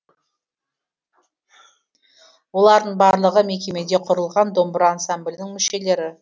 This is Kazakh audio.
олардың барлығы мекемеде құрылған домбыра ансамблінің мүшелері